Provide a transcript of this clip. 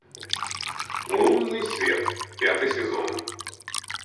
лунный свет пятый сезон